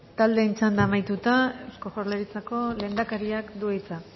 taldeen txanda amaituta eusko jaurlaritzako lehendakariak du hitza